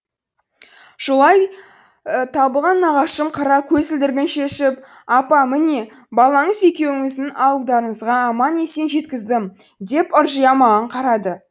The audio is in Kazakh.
жолай табылған нағашым қара көзілдірігін шешіп апа міне балаңыз екеуіңізді ауылдарыңызға аман есен жеткіздім деп ыржия маған қарады